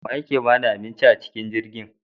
Waye yake bada abincin acikin jirgin?